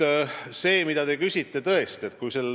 Nüüd sellest, mille kohta te küsisite.